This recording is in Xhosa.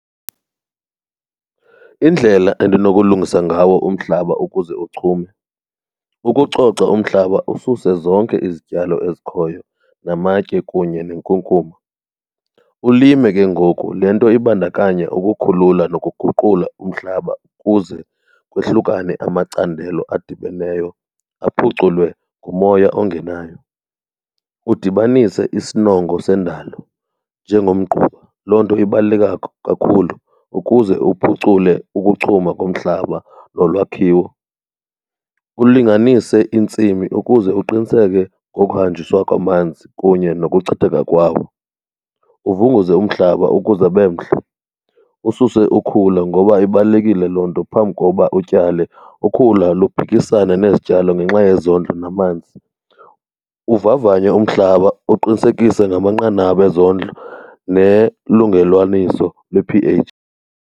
Indlela endinokulungisa ngawo umhlaba ukuze uchume. Ukucoca umhlaba ususe zonke izityalo ezikhoyo namatye kunye nenkunkuma, ulime ke ngoku. Le nto ibandakanya ukukhulula nokuguqula umhlaba ukuze kohlukane amacandelo adibeneyo aphuculwe ngumoya ongenayo. Udibanise isinongo sendalo njengomgquba, loo nto ibaluleke kakhulu ukuze uphucule ukuchuma komhlaba nolwakhiwo. Ulinganise iintsimi ukuze uqiniseke ngokuhanjiswa kwamanzi kunye nokuchitheka kwawo. Uvunguze umhlaba ukuze abe mhle, ususe ukhula ngoba ibalulekile loo nto phambi koba utyale. Ukhula luphikisana nezityalo ngenxa yezondlo namanzi. Uvavanye umhlaba uqinisekise ngamanqanaba ezondlo nelungelwaniso lwe-p_H.